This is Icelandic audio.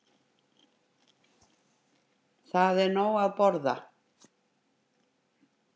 Það er nóg að borða.